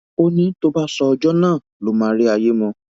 ó ní tó bá sọ ọjọ náà ló máa rí àyè mọ